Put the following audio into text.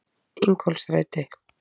Ingólfsstræti